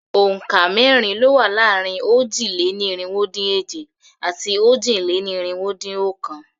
Òǹkà mẹ́rin ló wà láàrin òjì-lé-ní-irinwó-dín-èje àti òjì-lé-ní-irinwó-dín-ọ̀kan.